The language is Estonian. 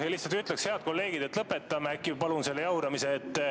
Lihtsalt ütleks, et, head kolleegid, äkki palun lõpetame selle jauramise.